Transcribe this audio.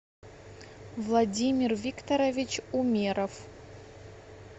владимир викторович умеров